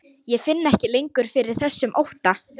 Ég finn ekki lengur fyrir þessum ótta.